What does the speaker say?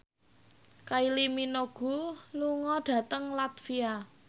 Kylie Minogue lunga dhateng latvia